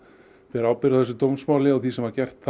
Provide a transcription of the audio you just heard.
ber ábyrgð á þessu dómsmáli og því sem var gert